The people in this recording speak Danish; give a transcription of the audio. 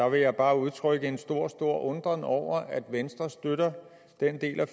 vil jeg bare udtrykke en stor stor undren over at venstre støtter den del af